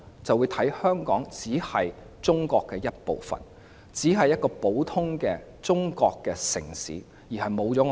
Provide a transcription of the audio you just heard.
就只會視香港為中國的一部分，一個普通的中國城市，失去獨立性。